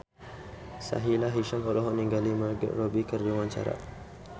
Sahila Hisyam olohok ningali Margot Robbie keur diwawancara